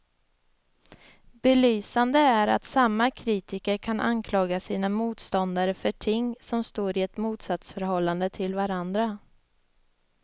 Belysande är att samma kritiker kan anklaga sina motståndare för ting som står i ett motsatsförhållande till varandra.